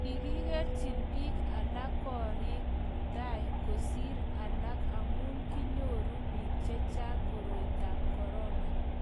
kikikerchi biik alak korik eng' tai kosir alak amu kinyoru biik che chang' koroitab korona